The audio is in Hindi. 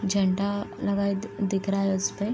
झंडा लगाए दिख रहा है इसपे --